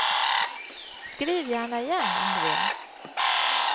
Skriv gärna igen, om du vill.